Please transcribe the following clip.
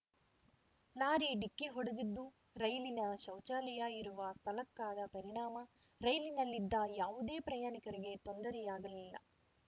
lorry ಡಿಕ್ಕಿ ಹೊಡೆದಿದ್ದು ರೈಲಿನ ಶೌಚಾಲಯ ಇರುವ ಸ್ಥಳಕ್ಕಾದ ಪರಿಣಾಮ ರೈಲಿನಲ್ಲಿದ್ದ ಯಾವುದೇ ಪ್ರಯಾಣಿಕರಿಗೆ ತೊಂದರೆಯಾಗಿಲ್ಲ